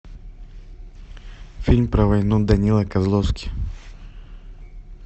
фильм про войну данила козловский